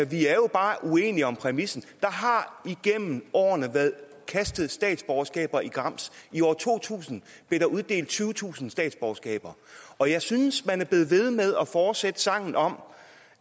vi er jo bare uenige om præmissen der har igennem årene været kastet statsborgerskaber i grams i år to tusind blev der uddelt tyvetusind statsborgerskaber og jeg synes at man er blevet ved med at fortsætte sangen om